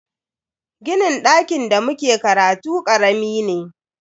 Ginin dakin da muke karatu karami ne.